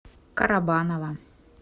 карабаново